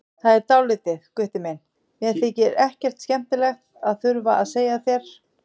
Það er dálítið, Gutti minn, sem mér þykir ekkert skemmtilegt að þurfa að segja þér.